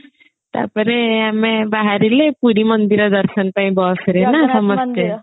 ତାପରେ ଆମେ ବାହାରିଲେ ପୁରୀ ମନ୍ଦିର ଦର୍ଶନ ପାଇଁ bus ରେ ନା